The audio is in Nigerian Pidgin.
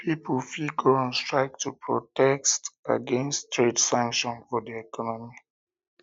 pipo fit go on strike to protest against trade sanctions for di economy